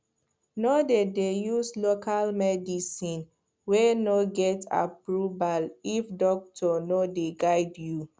no dey dey use local medicine wey no get approval if doctor no dey guide you